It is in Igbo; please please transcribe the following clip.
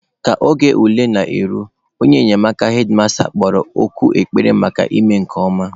Ka oge ule na-eru, onye enyemaka hedmasta kpọrọ oku ekpere maka ịme nke ọma.